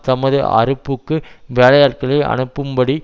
தமது அறுப்புக்கு வேலையாட்களை அனுப்பும்படி